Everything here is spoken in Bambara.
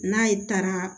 N'a ye taara